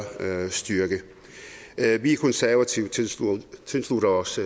styrke vi konservative tilslutter os